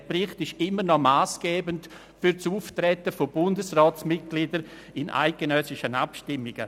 Dieser Bericht ist immer noch massgebend für das Auftreten von Bundesratsmitgliedern bei eidgenössischen Abstimmungen.